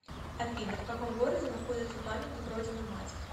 афина в каком городе находится памятник родина мать